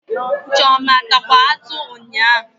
Chioma atakwa atụ nyaa?